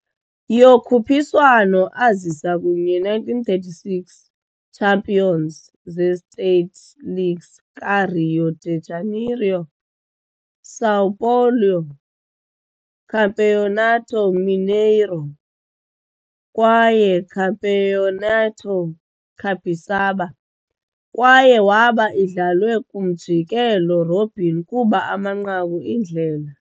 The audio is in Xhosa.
Yokhuphiswano azisa kunye 1936 champions of the state leagues ka - Rio de Janeiro, São Paulo, Campeonato Mineiro kwaye Campeonato Capixaba, kwaye waba idlalwe kwi-umjikelo-robin kuba amanqaku iindlela.